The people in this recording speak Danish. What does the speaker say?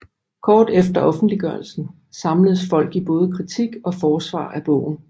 Kort efter offentliggørelsen samledes folk i både kritik og forsvar af bogen